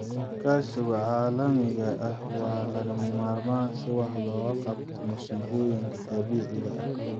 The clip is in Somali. Iskaashiga caalamiga ah waa lagama maarmaan si wax looga qabto masiibooyinka dabiiciga ah.